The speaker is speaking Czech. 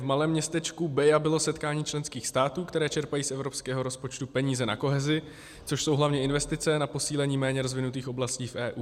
V malém městečku Beja bylo setkání členských států, které čerpají z evropského rozpočtu peníze na kohezi, což jsou hlavně investice na posílení méně rozvinutých oblastí v EU.